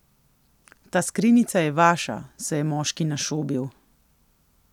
Ta skrinjica je vaša, se je moški našobil.